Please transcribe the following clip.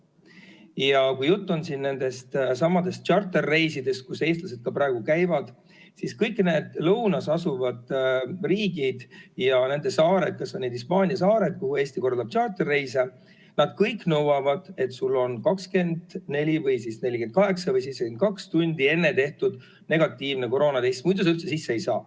Ja kui jutt on nendestsamadest tšarterreisidest, kus eestlased ka praegu käivad, siis kõik need lõunas asuvad riigid ja nende saared, kas või need Hispaania saared, kuhu Eesti korraldab tšarterreise, nad kõik nõuavad, et sul on 24 või 48 või 72 tundi enne tehtud negatiivne koroonatest, muidu sa üldse sisse ei saa.